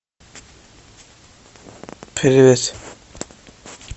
привет